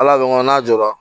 Ala ko nko n'a jɔra